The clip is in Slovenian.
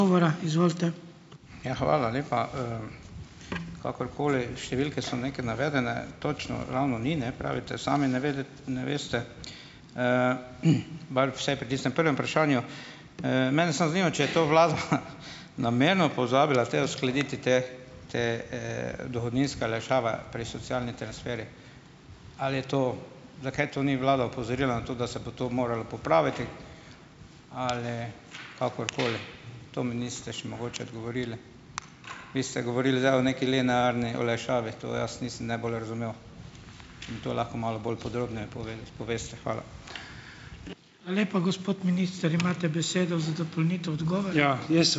Ja, hvala lepa. Kakorkoli, številke so nekaj navedene, točno ravno ni, ne, pravite sami, ne vedeti ne veste, bar vsaj pri tistem prvem vprašanju. Mene samo zanima, če je to vlada nameno pozabila te, uskladiti te, te, dohodninske olajšave pri socialnih transferjih ali je to ... Zakaj to ni vlada opozorila na to, da se bo to moralo popraviti ali kakorkoli. To mi niste še mogoče odgovorili. Vi ste govorili zdaj o neki linearni olajšavi. To jaz nisem najbolj razumel in to lahko malo bolj podrobneje poveste. Hvala.